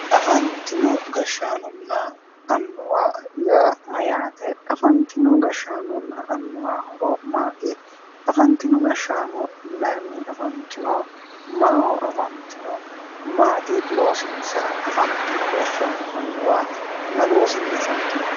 Afanitino gashaanonna annuwa yaa Mayyaate? Afanitino gashaanonna annuwa horo maati afanitino gashaano mayinni afanitanno maaho afanitino maati loosinisa afanitino annuwa ma loosinni afanitino?